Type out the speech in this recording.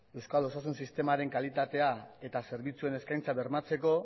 euskal osasun sistemaren kalitatea eta zerbitzuen eskaintza bermatzeko